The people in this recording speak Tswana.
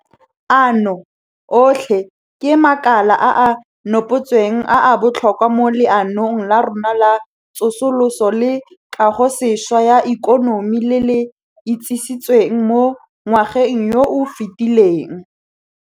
Ano otlhe ke makala a a nopotsweng a a botlhokwa mo Leanong la rona la Tsosoloso le Kagosešwa ya Ikonomi le le itsisitsweng mo ngwageng yo o fetileng.